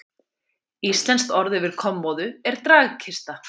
Íslenskt orð yfir kommóðu er dragkista.